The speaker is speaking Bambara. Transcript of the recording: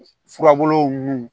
Furabuluw nu